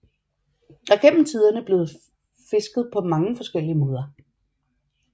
Der er gennem tiderne blevet fisket på mange forskellige måder